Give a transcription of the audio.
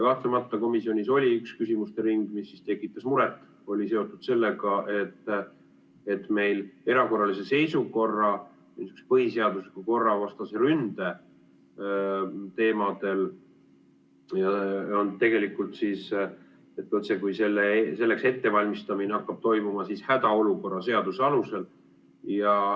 Kahtlemata komisjonis oli üks küsimuste ring, mis tekitas muret, seotud sellega, et meil erakorralise seisukorra, põhiseadusliku korra vastase ründe puhul selleks ettevalmistamine hakkab toimuma hädaolukorra seaduse alusel.